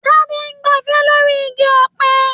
Tade n gbàfẹ̀ lóri igi ọ̀pẹ.